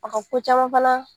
A ka ko caman fana